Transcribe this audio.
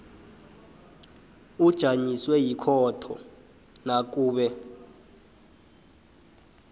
ujanyiswe yikhotho nakube